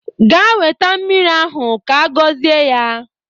Gaa weta mmiri ahụ ka-agọzie ya!